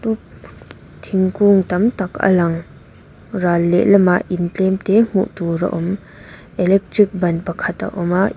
thingkung tam tak a lang ral lehlam ah in tlem te hmuh tur a awm electric ban pakhat a awm a--